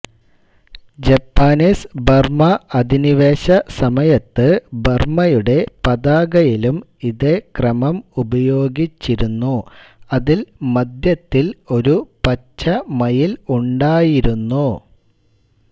Japanese Burma അധിനിവേശ സമയത്ത് ബർമയുടെ പതാകയിലും ഇതേ ക്രമം ഉപയോഗിച്ചിരുന്നു അതിൽ മധ്യത്തിൽ ഒരു പച്ച മയിൽ ഉണ്ടായിരുന്നു